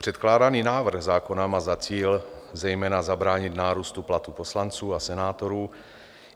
Předkládaný návrh zákona má za cíl zejména zabránit nárůstu platů poslanců a senátorů.